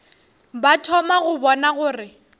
ba thoma go bona gore